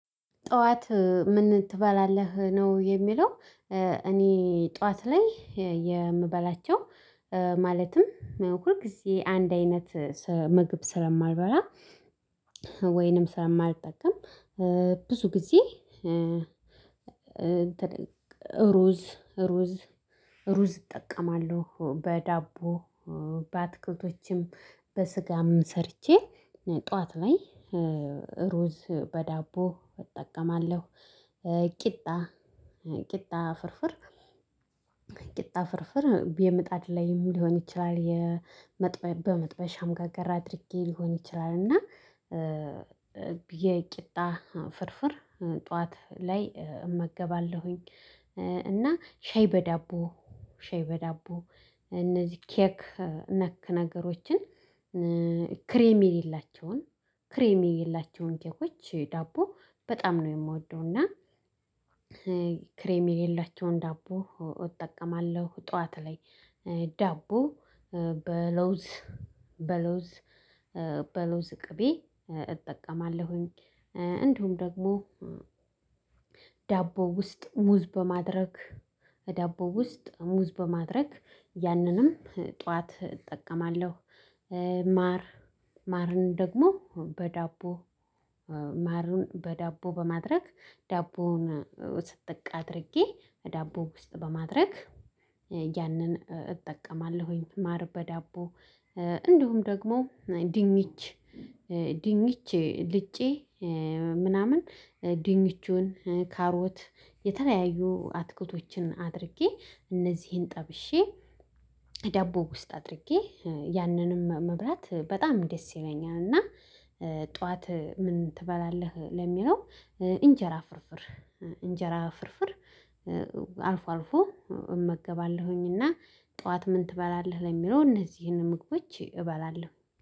ጠዋት ምን ትበላለህ ነው የሚለው? እኔ ጠዋት ላይ የምበላቸው ማለትም ሁልጊዜ አንድ አይነት ምግብ ስለማልበላ ወይንም ስለ ማልጠቀም ብዙ ጊዜ ሩዝ ሩዝ ሩዝ እጠቀማለሁ በዳቦ በአትክልቶችም በስጋም ሰርቼ ጠዋት ላይ ሩዝ በዳቦ እጠቀማለሁ ቂጣ ቂጣ ፍርፍር ቂጣ ፍርፍር የምጣድ ላይ ሊሆን ይችላል። በመጥበሻን ጋገር አድርጌ ሊሆን ይችላል እና የቂጣ ፍርፍር ጠዋት ላይ እመገባለሁኝ። እና ሻይ በዳቦ ሻይ በዳቦ እነዚህ ኬክ ነክ ነገሮችን ክሬም የሌላቸውን ክሬም የሌላቸውን ኬኮች ዳቦ በጣም ነው የምወደው እና። ክሬም የሌላቸውን ዳቦ እጠቀማለሁ ጠዋት ላይ ዳቦ በለውዝ በለውዝ በለውዝ ቅቤ እጠቀማለሁኝ። እንዲሁም ደግሞ ዳቦ ውስጥ ሙዝ በማድረግ ዳቦ ውስጥ ሙዝ በማድረግ ያንንም ጠዋት እጠቀማለሁ። ማር ማርን ደግሞ በዳቦ ማሩን በዳቦ በማድረግ ዳቦውን ስጥቅ አድርጌ በዳቦ ውስጥ በማድረግ ያንን እጠቀማለሁኝ። ማር በዳቦ እንዲሁም ደግሞ ዲንች ዲኝች ልጬ ምናምን ድንቹን ካሮት የተለያዩ አትክልቶችን አድርጌ እነዚህን ጠብሼ ዳቦ ውስጥ አድርጌ ያንንም መብላት በጣም ደስ ይለኛል። እና ጠዋት ምን ትበላለህ ለሚለው? እንጀራ ፍርፍር እንጀራ ፍርፍር አልፎ አልፎ እመገባለሁኝና ጠዋት ምን ትበላለህ ለሚለው እነዚህን ምግቦች እበላለሁ